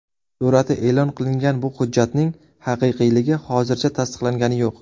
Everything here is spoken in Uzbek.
Surati e’lon qilingan bu hujjatning haqiqiyligi hozircha tasdiqlangani yo‘q.